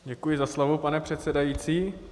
Děkuji za slovo, pane předsedající.